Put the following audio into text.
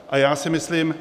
A já si myslím...